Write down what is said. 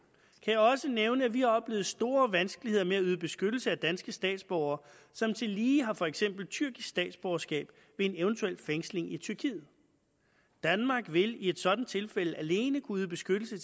jeg også nævne at vi har oplevet store vanskeligheder med at yde beskyttelse af danske statsborgere som tillige har for eksempel tyrkisk statsborgerskab ved en eventuel fængsling i tyrkiet danmark vil i et sådant tilfælde alene kunne yde beskyttelse